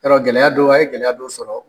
Yɔrɔ gɛlɛya don, a ye gɛlɛya dɔ sɔrɔ.